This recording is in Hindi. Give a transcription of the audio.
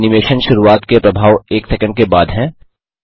इसमें एनिमेशन शुरूआत के प्रभाव एक सैकंड के बाद हैं